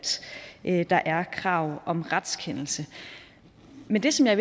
der er krav om retskendelse men det som jeg